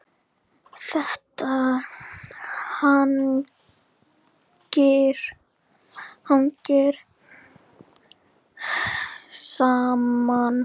Þetta hangir saman.